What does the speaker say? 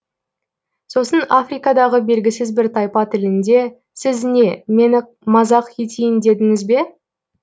сосын африкадағы белгісіз бір тайпа тілінде сіз не мені мазақ етейін дедіңіз бе